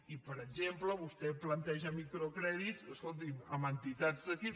i per exemple vostè planteja microcrèdits escolti’m amb entitats d’aquí